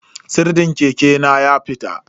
Sirdin keke na ya fita.